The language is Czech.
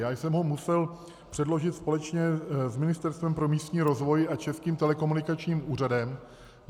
Já jsem ho musel předložit společně s Ministerstvem pro místní rozvoj a Českým telekomunikačním úřadem.